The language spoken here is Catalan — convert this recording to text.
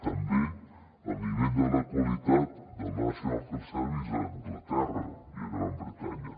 també el nivell de la qualitat del national health service a anglaterra i a gran bretanya